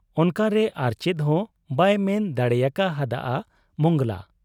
ᱚᱱᱠᱟᱨᱮ ᱟᱨᱪᱮᱫ ᱦᱚᱸ ᱵᱟᱭ ᱢᱮᱱ ᱫᱟᱲᱮᱭᱟᱠᱟ ᱦᱟᱫ ᱟ ᱢᱚᱸᱜᱽᱲᱞᱟ ᱾